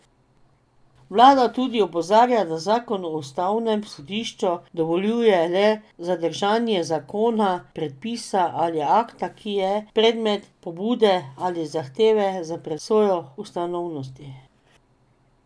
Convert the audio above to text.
Vlada tudi opozarja, da zakon o ustavnem sodišču dovoljuje le zadržanje zakona, predpisa ali akta, ki je predmet pobude ali zahteve za presojo ustavnosti.